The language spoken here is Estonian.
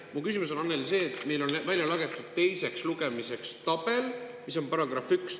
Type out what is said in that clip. Mu küsimus, Annely, on see, et meile on välja teiseks lugemiseks tabel.